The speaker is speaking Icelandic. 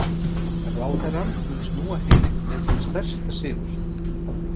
Ráðherrann mun snúa heim með sinn stærsta sigur.